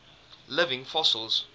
living fossils